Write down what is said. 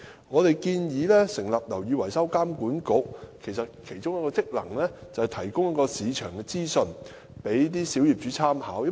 我們建議成立"樓宇維修工程監管局"，而該局的其中一個職能是提供市場資訊供小業主參考。